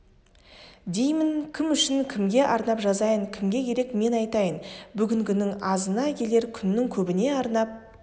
деймін кім үшін кімге арнап жазайын кімге керек мен айтайын бүгінгінің азына келер күннің көбіне арнап